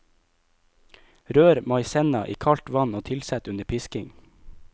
Rør maisenna i kaldt vann og tilsett under pisking.